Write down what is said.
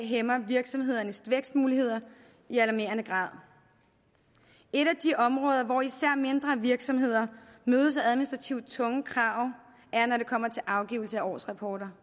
hæmmer virksomhedernes vækstmuligheder i alarmerende grad et af de områder hvor især mindre virksomheder mødes af administrativt tunge krav er når det kommer til afgivelse af årsrapporter